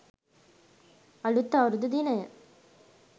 අලුත් අවුරුදු දිනය